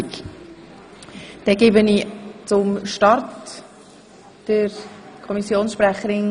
Wir diskutieren alle Artikel gemeinsam.